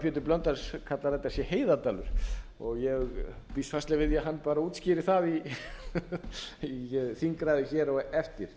pétur blöndal kallar að þetta sé heiðardalur og ég býst fastlega við því að hann bara útskýri það í þingræðu hér á eftir